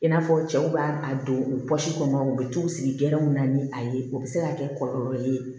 I n'a fɔ cɛw b'a a don kɔnɔ u bɛ t'u sigi gɛlɛnw na ni a ye o bɛ se ka kɛ kɔlɔlɔ ye